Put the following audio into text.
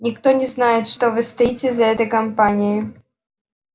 никто не знает что вы стоите за этой кампанией